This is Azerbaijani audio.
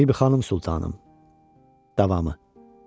Bibi xanım Sultanım, davamı.